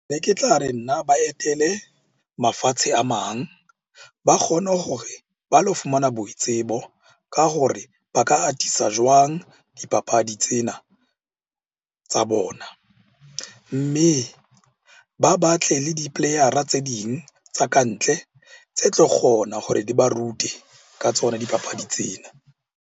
Be ke tla re nna ba etele mafatshe a mang, ba kgone hore ba lo fumana boitsebo ka hore ba ka atisa jwang dipapadi tsena tsa bona. Mme ba batle le di-player-ra tse ding tsa kantle tse tlo kgona gore di ba rute ka tsona dipapadi tsena.